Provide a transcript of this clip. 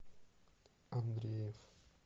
андреев